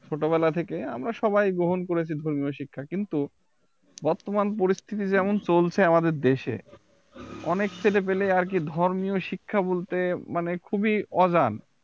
ছোটবেলা থেকে আমরা সবাই গ্রহণ করেছি ধর্মীয় শিক্ষা কিন্তু বর্তমান পরিস্থিতি যেমন চলছে আমাদের দেশে অনেক ছেলে পেলে আরকি ধর্মীয় শিক্ষা বলতে মানে খুবই অজান